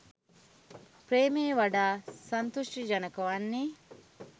ප්‍රේමය වඩා සංතෘෂ්ටිජනක වන්නේ